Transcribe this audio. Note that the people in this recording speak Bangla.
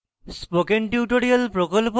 spoken tutorial প্রকল্প the